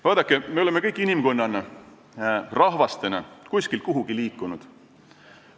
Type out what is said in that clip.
Vaadake, me oleme kõik inimkonnana, rahvastena kuskilt kuhugi liikunud.